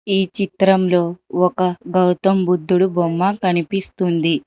ఈ చిత్రంలో ఒక గౌతమ్ బుద్ధుడు బొమ్మ కనిపిస్తుంది.